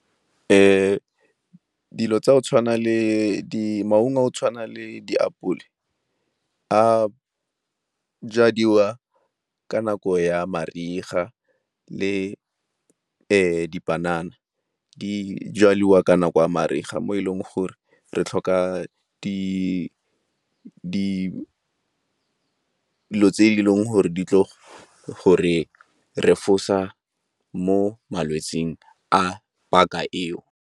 Dilo tsa go tshwana le, maungo a go tshwana le diapole a jadiwa ka nako ya mariga le dipanana di jaliwa ka nako a mariga mo e leng gore re tlhoka dilo tse e leng gore di tlo go re refosa mo malwetsing a paka eo.